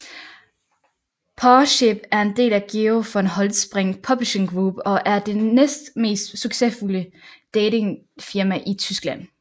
Parship er en del af Georg von Holtzbrinck Publishing Group og er det næstmest succesfulde datingfirma i Tyskland